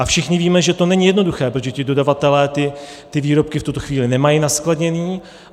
A všichni víme, že to není jednoduché, protože ti dodavatelé ty výrobky v tuto chvíli nemají naskladněné.